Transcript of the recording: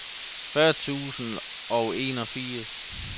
fyrre tusind og enogfirs